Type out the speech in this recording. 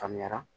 Faamuyara